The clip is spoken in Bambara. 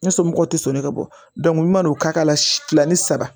Ne somɔgɔw tɛ sɔnni ka bɔ ma n'o ka la kila ni saba